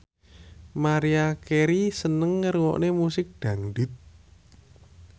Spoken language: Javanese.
Maria Carey seneng ngrungokne musik dangdut